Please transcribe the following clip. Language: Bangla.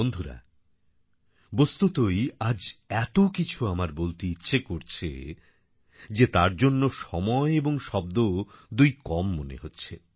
বন্ধুরা বস্তুতই আজ এতো কিছু আমার বলতে ইচ্ছে করছে যে তার জন্যে সময় এবং শব্দ দুইই কম মনে হচ্ছে